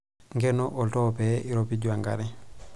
Nkeno oltoo pee eiropiju enkare.